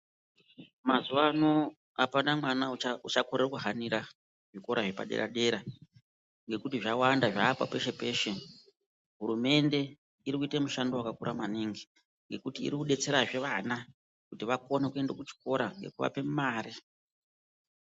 Mazuwano apana mwana uchakorera kuhanira zvikora zvepadera dera ngokuti zvawanda zvaakwa peshe peshe. Hurumende iri kuite mushando wakakura maningi ngekuti iri kudetserazwe vana kuti vakone kuenda kuzvikora nekuvape mare.